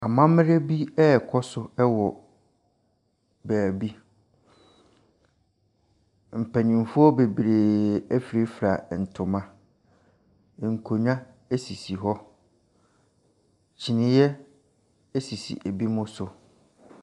Amamerɛ bi ɛɛkɔ so ɛwɔ baabi. Mpanyinfoɔ bebree ɛfirafira ntoma. Nkonwa esisi hɔ. kyiniiɛ esisi ebinom so.